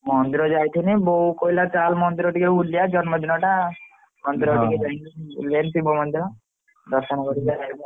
ମନ୍ଦିର ଯାଇଥିଲି ବୋଉ କହିଲା ଚାଲ ମନ୍ଦିର ଟିକେ ବୁଲିବା ଜନ୍ମ ଦିନ ଟା ମନ୍ଦିର ଟିକେ ଜାଇକି ବୁଲି ଆଇଲି ଶିବ ମନ୍ଦିର ଦର୍ଶନ କରିକି ଆଇଲୁ ଆଉ।